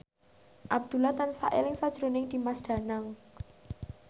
Abdullah tansah eling sakjroning Dimas Danang